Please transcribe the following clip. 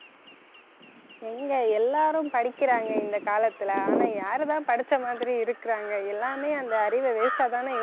எங்க எல்லாரும் படிக்கிறாங்க இந்த காலத்துல ஆனா யாரு தான் படிச்ச மாதிரி இருக்குறாங்க எல்லாமே அந்த அறிவை waste ஆ தானே